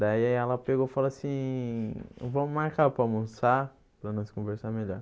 Daí ela pegou e falou assim, vamos marcar para almoçar, para nós conversar melhor.